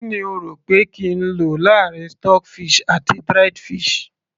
kí ni o rò pé kí n lò láàrin stock fish àti dried fish